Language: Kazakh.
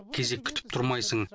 кезек күтіп тұрмайсың